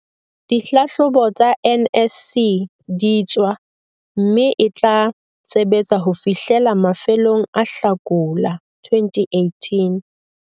dihlahlobo tsa NSC di tswa mme e tla sebetsa ho fihlela mafelong a Hlakola 2018.